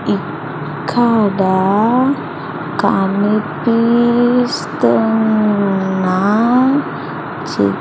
ఇక్కడ కనిపిస్తున్నా చిత్--